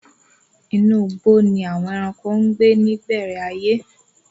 Inú igbó ni àwon ẹranko ń gbé ní ìbẹ̀rẹ̀ ayé.